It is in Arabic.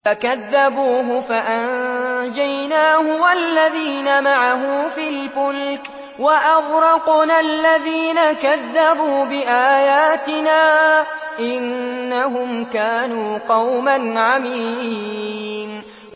فَكَذَّبُوهُ فَأَنجَيْنَاهُ وَالَّذِينَ مَعَهُ فِي الْفُلْكِ وَأَغْرَقْنَا الَّذِينَ كَذَّبُوا بِآيَاتِنَا ۚ إِنَّهُمْ كَانُوا قَوْمًا عَمِينَ